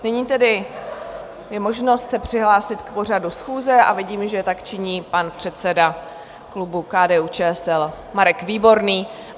Nyní tedy je možnost se přihlásit k pořadu schůze a vidím, že tak činí pan předseda klubu KDU-ČSL Marek Výborný.